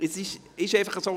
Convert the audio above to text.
Es ist einfach so.